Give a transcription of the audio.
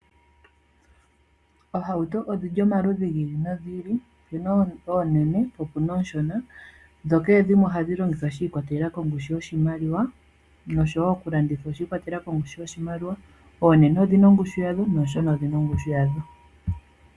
Oohauto odhili omaludhi giili no giili, opuna oonene, po opuna ooshona, dho kehe ohadhi longithwa shiikwatelela kongushu yoshimaliwa noku landa oshi iikwatelela kongushu yoshimaliwa, oonene odhina oongushu yadho nooshona odhina ongushu yadho.